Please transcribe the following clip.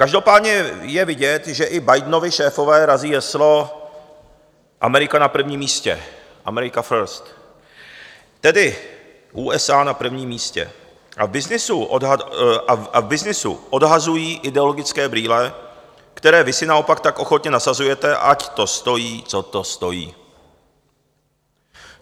Každopádně je vidět, že i Bidenovi šéfové razí heslo Amerika na prvním místě, Amerika First, tedy USA na prvním místě - a v byznysu odhazují ideologické brýle, které vy si naopak tak ochotně nasazujete, ať to stojí, co to stojí.